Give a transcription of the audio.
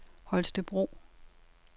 Holstebro